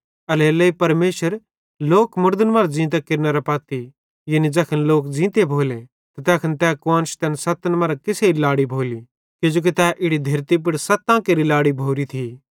एल्हेरेलेइ परमेशर लोक मुड़दन मरां ज़ींते केरनेरे पत्ती यानी ज़ैखन लोक ज़ींते भोले त तैखन तै कुआन्श तैन सत्तन मरां केसेरी लाड़ी भोली किजोकि तै इड़ी धेरती पुड़ सत्तां केरि लाड़ी भोरी थी